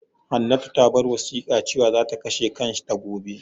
Hannatu ta bar wasiƙa cewan za ka kashe kanta gobe.